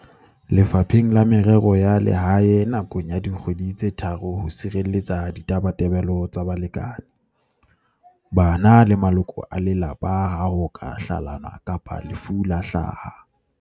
Lefapheng la Merero ya Lehae nakong ya dikgwedi tse tharo ho sirelletsa ditabatabelo tsa balekane, bana le maloko a lelapa ha ho ka hlalanwa kapa lefu la hlaha.